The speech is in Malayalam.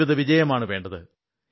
ജീവിതവിജയമാണ് വേണ്ടത്